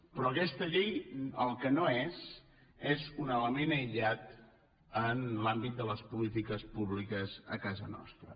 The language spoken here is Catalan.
però aquesta llei el que no és és un element aïllat en l’àmbit de les polítiques públiques a casa nostra